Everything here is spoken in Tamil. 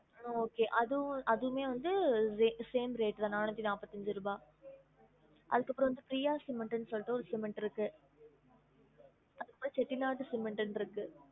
Okay அது அதுவுமே வந்து sa~ same rate தான் நானூத்தி நாப்பத்தி அஞ்சு ருபா அதுக்கு அப்பறம் வந்துட்டு PRIYA cement ன்னு சொல்லிடு ஒரு cement இருக்கு Chettinad cement னு இருக்கு